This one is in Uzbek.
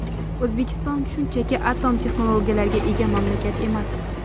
O‘zbekiston shunchaki atom texnologiyalariga ega mamlakat emas.